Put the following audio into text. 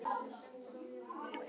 Sér og pappírunum.